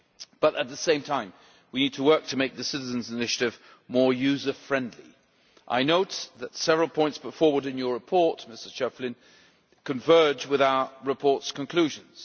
But, at the same time, we need to work to make the Citizens' Initiative more user-friendly. I note that several points put forward in your report, Mr Schöpflin, converge with our report's conclusions.